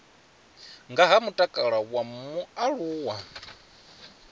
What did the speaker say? nga ha mutakalo wa mualuwa